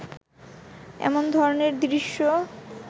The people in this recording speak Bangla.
এমন ধরনের দৃশ্য